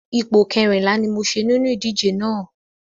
Ipò kẹrìnlá ni mo ṣe nínú ìdíje náà.